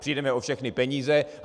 Přijdeme o všechny peníze.